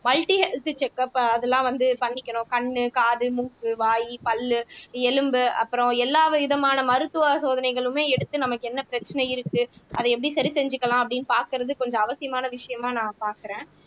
multi health checkup அஹ் அதெல்லாம் வந்து பண்ணிக்கணும் கண்ணு காது மூக்கு வாய் பல்லு எலும்பு அப்புறம் எல்லாவிதமான மருத்துவ சோதனைகளுமே எடுத்து நமக்கு என்ன பிரச்சனை இருக்கு அதை எப்படி சரி செஞ்சுக்கலாம் அப்படின்னு பார்க்கிறது கொஞ்சம் அவசியமான விஷயமா நான் பார்க்கிறேன்